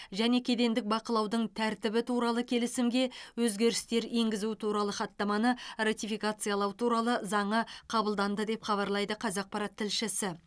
және кедендік бақылаудың тәртібі туралы келісімге өзгерістер енгізу туралы хаттаманы ратификациялау туралы заңы қабылданды деп хабарлайды қазақпарат тілшісі